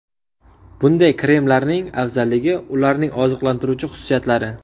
Bunday kremlarning afzalligi – ularning oziqlantiruvchi xususiyatlari.